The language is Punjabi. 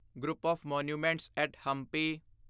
group of monuments at Hampi